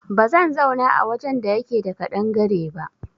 Ba zan zauna a wajen da yake da ƙadangare ba